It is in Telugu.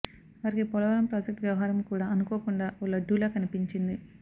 వారికి పోలవరం ప్రాజెక్ట్ వ్యవహారం కూడా అనుకోకుండా ఓ లడ్డులా కనిపంచింది